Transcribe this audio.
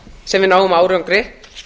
sem við náum árangri